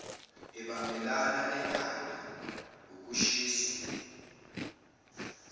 ebambelela edanda ukushiso